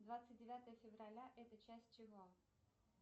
двадцать девятое февраля это часть чего